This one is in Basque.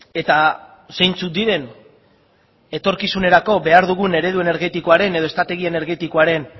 eta zeintzuk diren etorkizunerako behar dugun eredu energetikoaren edo estrategia energetikoaren